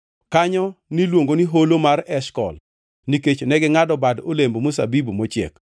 Kanyo niluongo ni Holo mar Eshkol nikech negingʼado bad olemb mzabibu mochiek.